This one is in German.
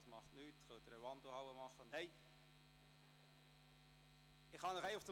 Das macht nichts, sie können diese auch in der Wandelhalle erledigen.